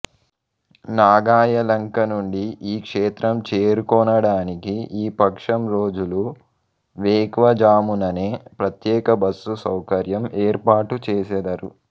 నాగాయలంక నుండి ఈ క్షేత్రం చేరుకోనడానికి ఈ పక్షం రోజులూ వేకువఝాముననే ప్రత్యేక బస్సు సౌకర్యం ఏర్పాటు చేసెదరు